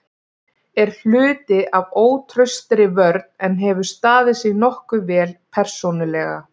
Er hluti af ótraustri vörn en hefur staðið sig nokkuð vel persónulega.